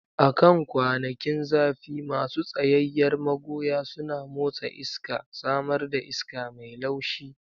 A kan kwanakin zafi, masu tsayayyar magoya suna motsa iska, samar da iska mai laushi.